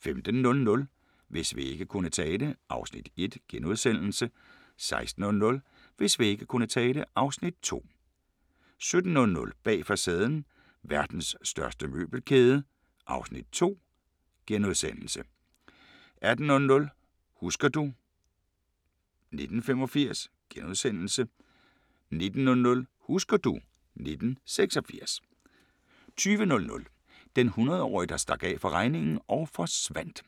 15:00: Hvis vægge kunne tale (Afs. 1)* 16:00: Hvis vægge kunne tale (Afs. 2) 17:00: Bag facaden: Verdens største møbelkæde (Afs. 2)* 18:00: Husker du ... 1985 * 19:00: Husker du ... 1986 20:00: Den hundredetårige der stak af fra regningen og forsvandt